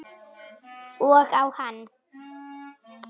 Og á hann.